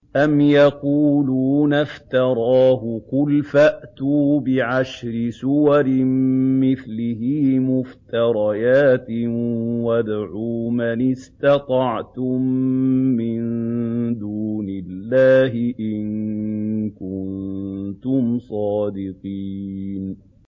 أَمْ يَقُولُونَ افْتَرَاهُ ۖ قُلْ فَأْتُوا بِعَشْرِ سُوَرٍ مِّثْلِهِ مُفْتَرَيَاتٍ وَادْعُوا مَنِ اسْتَطَعْتُم مِّن دُونِ اللَّهِ إِن كُنتُمْ صَادِقِينَ